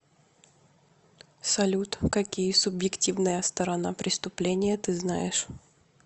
салют какие субъективная сторона преступления ты знаешь